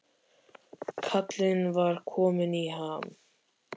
Kallinn var kominn í ham, sagan kraumaði á vörum hans.